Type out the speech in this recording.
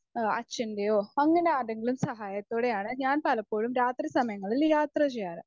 Speaker 1 ആ അച്ഛൻ്റെയോ അങ്ങനെ ആരുടെയെങ്കിലും സഹായത്തോടെയാണ് ഞാൻ പലപ്പോഴും രാത്രി സമയങ്ങളിൽ യാത്ര ചെയ്യാറ്.